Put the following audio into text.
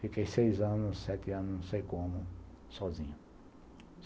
Fiquei seis anos, sete anos, não sei como, sozinho.